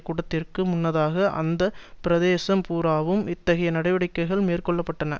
கூட்டத்திற்கு முன்னதாக அந்த பிரதேசம் பூராவும் இத்தகைய நடவடிக்கைகள் மேற்கொள்ள பட்டன